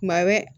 Tuma bɛ